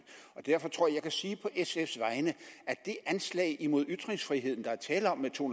og derfor tror jeg jeg kan sige på sf’s vegne at det anslag imod ytringsfriheden der er tale om med to